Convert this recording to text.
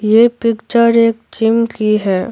ये पिक्चर एक जिम की है।